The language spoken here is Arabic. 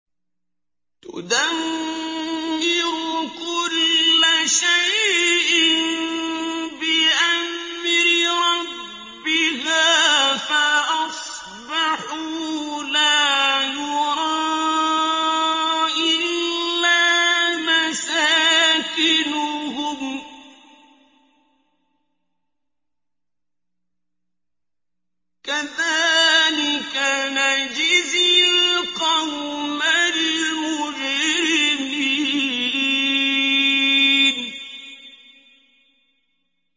تُدَمِّرُ كُلَّ شَيْءٍ بِأَمْرِ رَبِّهَا فَأَصْبَحُوا لَا يُرَىٰ إِلَّا مَسَاكِنُهُمْ ۚ كَذَٰلِكَ نَجْزِي الْقَوْمَ الْمُجْرِمِينَ